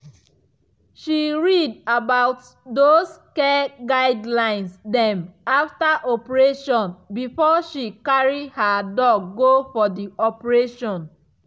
she read about those care guidelines dem after operation before she carry her dog go for d operation